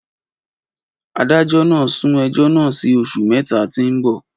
Adájọ́ nà sún ẹjo nà sí òsú mẹta ti mbọ